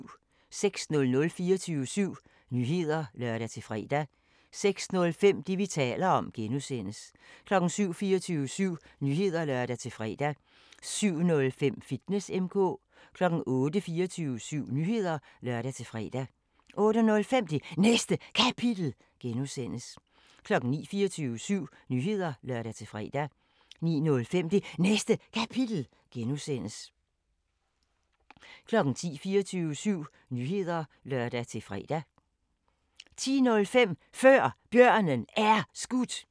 06:00: 24syv Nyheder (lør-fre) 06:05: Det, vi taler om (G) 07:00: 24syv Nyheder (lør-fre) 07:05: Fitness M/K 08:00: 24syv Nyheder (lør-fre) 08:05: Det Næste Kapitel (G) 09:00: 24syv Nyheder (lør-fre) 09:05: Det Næste Kapitel (G) 10:00: 24syv Nyheder (lør-fre) 10:05: Før Bjørnen Er Skudt